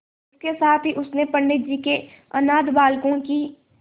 इसके साथ ही उसने पंडित जी के अनाथ बालकों की